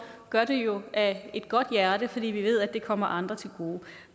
gør det jo af et godt hjerte fordi vi ved at det kommer andre til gode